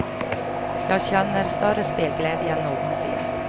Jag känner större spelglädje än någonsin.